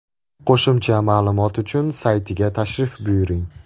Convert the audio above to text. Qo‘shimcha ma’lumot uchun saytiga tashrif buyuring.